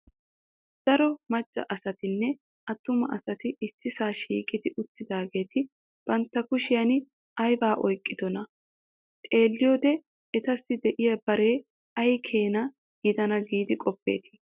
Daro macca asatinne attuma asati ississaa shiiqqi uttidaageeti bantta kushiyan aybaa oyqqidonaa? Xeeliyode etassi de'iya bare ay keena gidana giidi qoppettii?